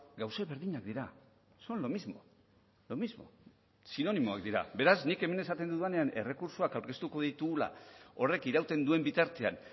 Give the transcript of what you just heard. gauza berdinak dira son lo mismo lo mismo sinonimoak dira beraz nik hemen esaten dudanean errekurtsoak aurkeztuko ditugula horrek irauten duen bitartean